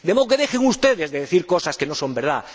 De modo que dejen ustedes de decir cosas que no son verdad.